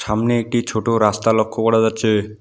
সামনে একটি ছোটো রাস্তা লক্ষ্য করা যাচ্ছে।